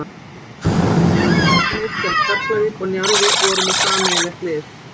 Hef meira segja mætt á handboltaleik þegar Keflavík og Njarðvík voru með sameiginlegt lið.